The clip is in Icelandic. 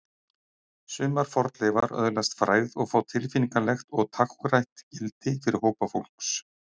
sumar fornleifar öðlast frægð og fá tilfinningalegt og táknrænt gildi fyrir hópa fólks